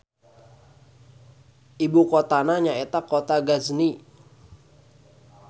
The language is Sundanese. Ibu kotana nyaeta Kota Ghazni.